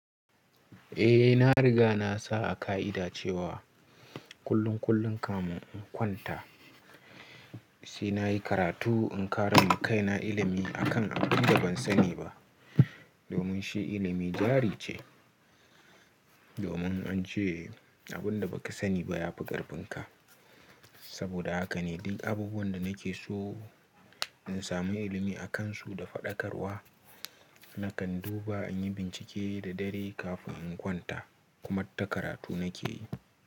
Eh, na riga na sa a ka'ida cewa kullum kullum kamin in kwanta sai na yi karatu in ƙara ma kaina ilimi a kan abun da ban sani ba domin shi ilimi jari ce. Domin an ce abin da baka sani ba ya fi ƙarfin ka. Saboda haka ne duk abubuwan da nake so in sami ilimi a kansu da faɗakarwa nakan duba, in yi bincike da dare kafin in kwanta. Kuma ta karatu nake yi.